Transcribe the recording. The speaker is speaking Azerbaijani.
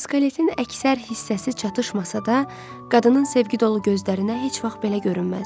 Skeletin əksər hissəsi çatışmasa da, qadının sevgi dolu gözlərinə heç vaxt belə görünməzdi.